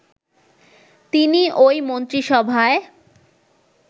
তিনি ওই মন্ত্রিসভায়